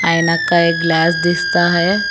ऐनक का एक ग्लास दिस्ता है।